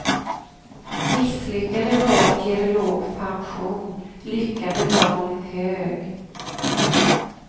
Misslyckade val ger låg pension, lyckade val hög.